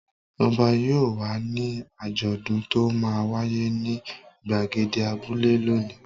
Ọba yóò wà ní àjọ̀dún tó máa wáyé ní ìgbàgede abúlé lónìí.